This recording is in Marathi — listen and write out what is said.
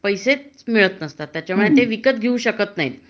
त्यांना पैसेच मिळत नाही ते विकत घेऊ शकत नाही